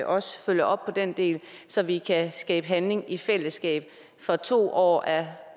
også følger op på den del så vi kan skabe handling i fællesskab for to år er